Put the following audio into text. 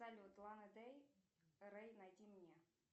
салют лана дей рей найди мне